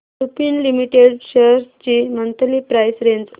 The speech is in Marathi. लुपिन लिमिटेड शेअर्स ची मंथली प्राइस रेंज